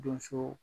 Donso